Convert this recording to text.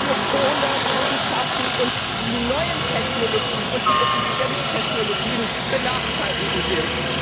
für Kohle zu schaffen, und die neuen Technologien und die Effizienztechnologien benachteiligen will.